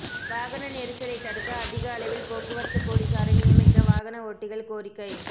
வாகன நெரிசலை தடுக்க அதிக அளவில் போக்குவரத்து போலீசாரை நியமிக்க வாகன ஓட்டிகள் கோரிக்கை